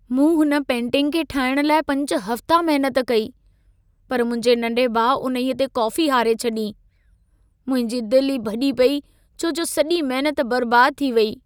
मूं हुन पेंटिंग खे ठाहिण लाइ 5 हफ़्ता महनत कई, पर मुंहिंजे नंढे भाउ उन्हईअ ते कॉफ़ी हारे छॾी। मुंहिंजी दिल ई भॼी पई छो सॼी महनत बर्बादु थी वेई।